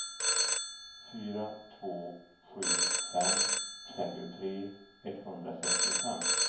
fyra två sju fem trettiotre etthundrasextiofem